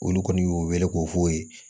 Olu kɔni y'u wele k'o f'o ye